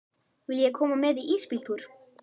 Viljiði koma með í ísbíltúr?